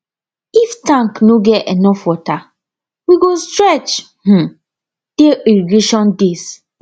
if tank no get enough water we go stretch um dey irrigation days